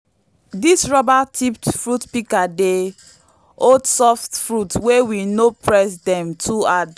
dis rubber tipped fruit pika dey hold soft fruit wey we no press dem too hard